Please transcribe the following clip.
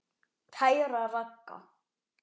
Kæra Ragga.